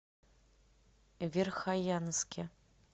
верхоянске